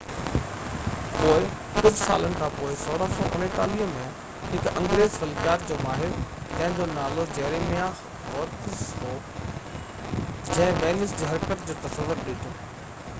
پوءِ ڪجهہ سالن کانپوءِ 1639 ۾ هڪ انگريز فلڪيات جو ماهر جنهن جو نالو جيرميا هورڪس هو جنهن وينس جي حرڪت جو تصور ڏنو